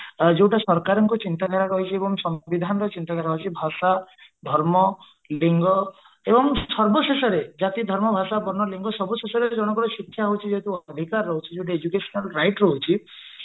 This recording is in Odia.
ଯୋଉଟା ସରକାରଙ୍କ ଚିନ୍ତା ଧାରା ରହିଛି ଏବଂ ବିଧାନର ଚିନ୍ତାଧାରା ରହିଛି ଭାଷା ଧର୍ମ ଲିଙ୍ଗ ଏବଂ ସର୍ବଶେଷରେ ଜାତି ଧର୍ମ ଭାଷା ଲିଙ୍ଗ ସର୍ବଶେଷରେ ଜଣଙ୍କର ଶିକ୍ଷା ହଉଛି ଯେହେତୁ ଅଧିକାର ରହୁଛି ଯୋଉଠି educational right ରହୁଛି ତ